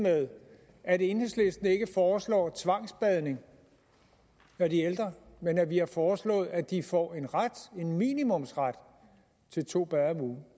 med at enhedslisten ikke foreslår tvangsbadning af de ældre men at vi har foreslået at de får en ret en minimumsret til to bade om ugen